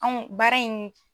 Anw baara in